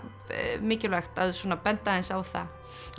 mikilvægt að benda aðeins á það